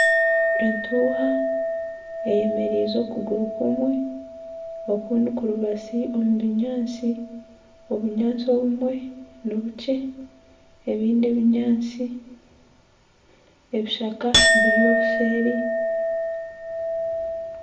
Entuuha eyemeriize okuguru kumwe okundi kurubasi omu binyatsi obunyatsi obumwe nibukye ebindi ebinyatsi ebishaka biri obuseeri